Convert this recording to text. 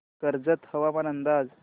कर्जत हवामान अंदाज